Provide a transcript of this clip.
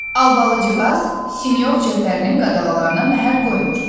Albalıcığaz sinyor Cəfərinin qadağalarına məhəl qoymur.